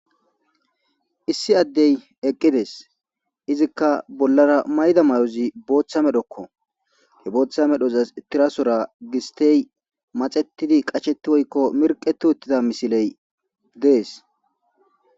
issi addey eqqides izikka bollara mayda may7ozi booththa medhokko he booththa medhozas tirasora gistey maxettidi qacsheti woykko mirqeti uttida misiley dees